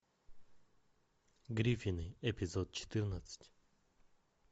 гриффины эпизод четырнадцать